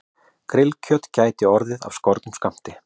Grillkjöt gæti orðið af skornum skammti